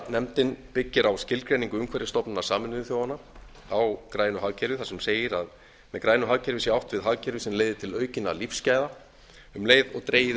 nefndin byggir á skilgreiningu umhverfisstofnunar sameinuðu þjóðanna á grænu hagkerfi þar sem segir að með grænu hagkerfi sé átt við hagkerfi sem leiði til aukinna lífsgæða um leið og dregið